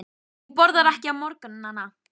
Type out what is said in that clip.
Hún borðar ekki á morgnana.